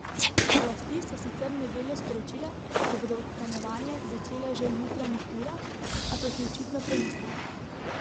Oblasti so sicer v nedeljo sporočile, da bodo odstranjevanje začele že v jutranjih urah, a so si očitno premislile.